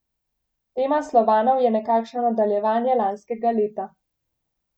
Tema Slovanov je nekakšno nadaljevanje lanskega leta.